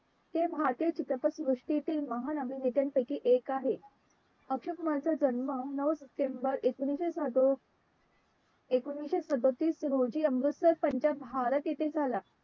ते भारतीय चित्रपट सृष्टीतील महानायकांपैकी एक आहे अक्षय कुमारचा जन्म नऊ सप्टेंबर एकोणाविशे सदो एकोणाविशे सदोतीस रोजी अमृतसर पंजाब भारत येथे झाला.